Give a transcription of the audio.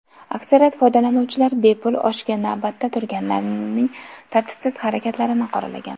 Aksariyat foydalanuvchilar bepul oshga navbatda turganlarning tartibsiz harakatlarini qoralagan.